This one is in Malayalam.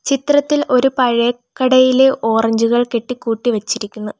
ചിത്രത്തിൽ ഒരു പഴ കടയിലെ ഓറഞ്ചുകൾ കെട്ടിക്കൂട്ടി വച്ചിരിക്കുന്നു.